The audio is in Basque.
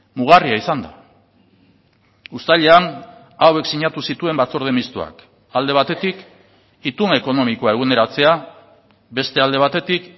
mugarria izan da uztailean hauek sinatu zituen batzorde mistoak alde batetik itun ekonomikoa eguneratzea beste alde batetik